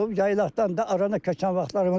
Yaylaqdan da arana köçən vaxtlarımız olub.